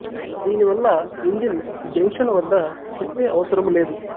దీని వల్ల engine junction వద్ద తిప్పే అవసరము లేదు